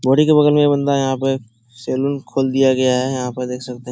के बगल में ये बंदा यहां पे सैलून खोल दिया गया है यहां पे देख सकते --